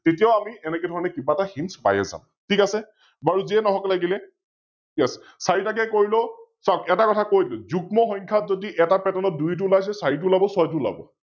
তেতিয়াও আমি এনেকে ধৰণে কি Hint এটা পাই যাম, ঠিক আছে, বাৰু যিয়ে নহওক লাগিলে yes চাৰিটাকৈ কৰিলেও চাওক এটা কথা কৈ দিলো যুগ্ম সংখ্যাত যদি এটা Pattern ত দুইটো ওলাইছে চাৰিটো ওলাৱ ছয়টো ওলাৱ